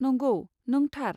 नंगौ, नों थार।